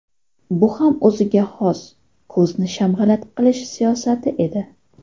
Bu ham o‘ziga xos ko‘zni shamg‘alat qilish siyosati edi.